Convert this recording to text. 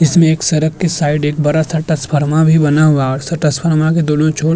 इसमे एक सरक के साइड एक बड़ा सा ट्रासफॉर्मा भी बना हुआ है और उस ट्रासफॉर्मा के दोनों छोर --